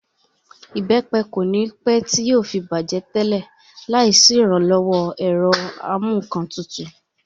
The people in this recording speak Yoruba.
Ìbẹ́pẹ kò ní pẹ́ tí yóò fi bàjẹ́ tẹ́lẹ̀ láì sí ìrànlọ́wọ́ ẹ̀rọ amúǹkantutù